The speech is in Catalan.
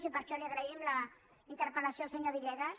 i per això li agraïm la interpel·lació al senyor villegas